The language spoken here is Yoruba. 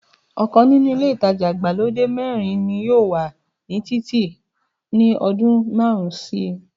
ọkàn nínú ilé ìtajà ìgbàlódé mẹ́rin ni yóò wà ní títì ní ọdún márùn-ún síi.